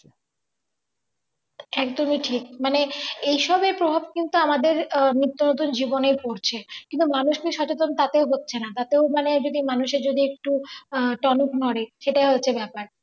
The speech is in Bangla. একদমই ঠিক মানে এই সবে প্রভাব কিন্তু আমাদের নিত্য নতুন জীবনে পড়ছে কিন্তু মানুষকে সচেতন তাতেও হচ্ছে না তাতেও মানে যদি মানুষের যদি একটু টনক নড়ে, সেটা হচ্ছে ব্যাপার।